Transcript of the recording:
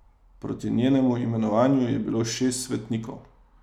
Proti njenemu imenovanju je bilo šest svetnikov.